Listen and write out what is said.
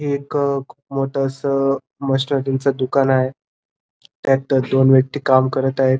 एक खूप मोठ अस मशीनरीच दुकान आहे त्यात दोन व्यक्ति काम करत आहेत.